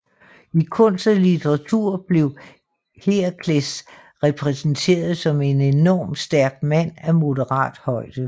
I kunst og litteratur blev Herakles repræsenteret som en enormt stærk mand af moderat højde